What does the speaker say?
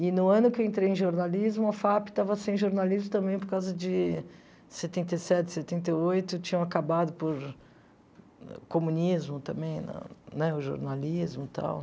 E no ano que eu entrei em jornalismo, a FAP estava sem jornalismo também por causa de setenta e sete, setenta e oito, tinham acabado por comunismo também, né, o jornalismo e tal.